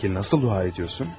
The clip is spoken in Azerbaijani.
Bəs necə dua edirsən?